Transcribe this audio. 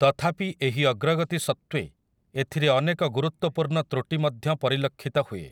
ତଥାପି ଏହି ଅଗ୍ରଗତି ସତ୍ତ୍ବେ ଏଥିରେ ଅନେକ ଗୁରୁତ୍ୱପୂର୍ଣ୍ଣ ତୃଟି ମଧ୍ୟ ପରିଲକ୍ଷିତ ହୁଏ ।